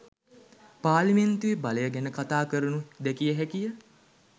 පාර්ලිමේන්තුවේ බලය ගැන කතාකරනු දැකිය හැකි ය